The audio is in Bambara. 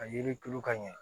A yiri tulu ka ɲɛ